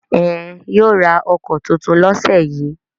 Ẹn, yóò ra ọkọ̀ tuntun lọ́sẹ̀ yìí.